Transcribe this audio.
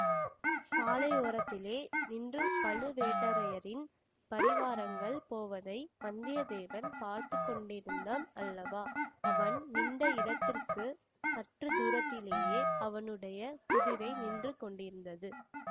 சாலையோரத்திலே நின்று பழுவேட்டரையரின் பரிவாரங்கள் போவதை வந்தியத்தேவன் பார்த்து கொண்டிருந்தான் அல்லவா அவன் நின்ற இடத்துக்கு சற்று தூரத்திலேயே அவனுடைய குதிரை நின்று கொண்டிருந்தது